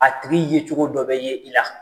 A tigi ye cogo dɔ bɛ ye i la.